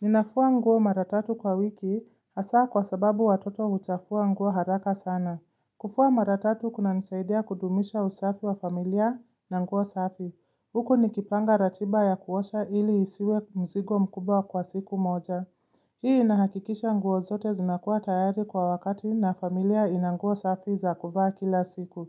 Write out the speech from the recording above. Ninafua nguo mara tatu kwa wiki, hasa kwa sababu watoto uchafua nguo haraka sana. Kufua mara tatu kuna nizaidia kudumisha usafi wa familia na nguo safi. Huku ni kipanga ratiba ya kuwasha ili isiwe mzigo mkubwa kwa siku moja. Hii inahakikisha nguo zote zinakuwa tayari kwa wakati na familia ina nguo safi za kuvaa kila siku.